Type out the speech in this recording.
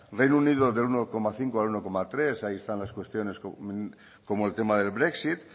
reino unido del uno coma cinco al uno coma tres ahí están las cuestiones como el tema del brexit